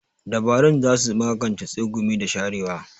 Dabarun za su magance tsegumi da sharewa.